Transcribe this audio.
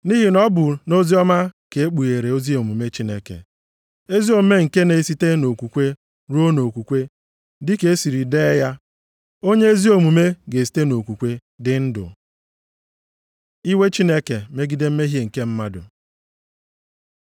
Nʼihi na ọ bụ nʼoziọma ka e kpughere ezi omume Chineke, ezi omume nke na-esite nʼokwukwe ruo okwukwe. Dịka e siri dee ya, “Onye ezi omume ga-esite nʼokwukwe dị ndụ.” + 1:17 \+xt Hab 2:4\+xt* Iwe Chineke megide mmehie nke mmadụ